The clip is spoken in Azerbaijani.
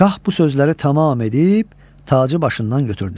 Şah bu sözləri tamam edib tacı başından götürdü.